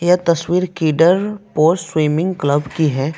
यह तस्वीर Kidderpore swimming club की है।